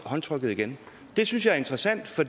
håndtryk igen det synes jeg er interessant for